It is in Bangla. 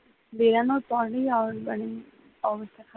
বেড়ানোর পরই আবার সেই অবস্থা খারাপ হয়ে যায়।